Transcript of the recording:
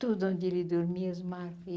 Tudo onde ele dormia.